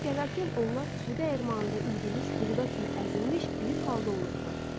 Evə gələrkən onlar su dəyirmanında üyüdülmüş buğda kimi əzilmiş bir halda olurdular.